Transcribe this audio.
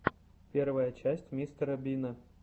первая часть мистера бина